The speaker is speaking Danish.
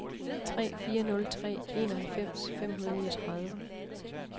tre fire nul tre enoghalvfems fem hundrede og niogtredive